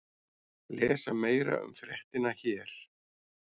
Lesa meira um fréttina hér